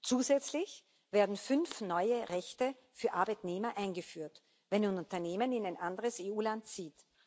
Zusätzlich werden fünf neue Rechte für Arbeitnehmer eingeführt, wenn ein Unternehmen in ein anderes EU Land zieht.